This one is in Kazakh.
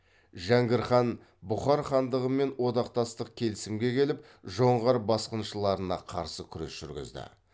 жәңгір хан бұхар хандығымен одақтастық келісімге келіп жоңғар басқыншыларына қарсы күрес жүргізді